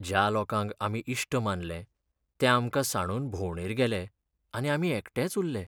ज्या लोकांक आमी इश्ट मानले ते आमकां सांडून भोंवडेर गेले आनी आमी एकटेच उरले.